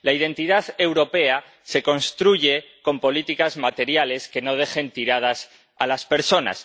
La identidad europea se construye con políticas materiales que no dejen tiradas a las personas.